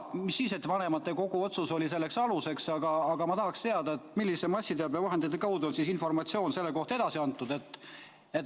Mis siis, et vanematekogu otsus oli selleks aluseks, ma tahaksin siiski teada, millise massiteabevahendi kaudu on informatsioon selle kohta edasi antud.